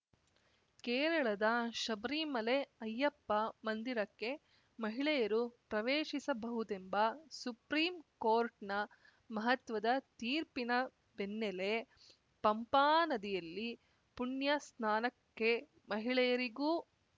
ಕೇರಳದ ಶಬರಿಮಲೆ ಅಯ್ಯಪ್ಪ ಮಂದಿರಕ್ಕೆ ಮಹಿಳೆಯರೂ ಪ್ರವೇಶಿಸಬಹುದೆಂಬ ಸುಪ್ರೀಂ ಕೋರ್ಟ್‌ನ ಮಹತ್ವದ ತೀರ್ಪಿನ ಬೆನ್ನೆಲ್ಲೇ ಪಂಪಾ ನದಿಯಲ್ಲಿ ಪುಣ್ಯ ಸ್ನಾನಕ್ಕೆ ಮಹಿಳೆಯರಿಗೂ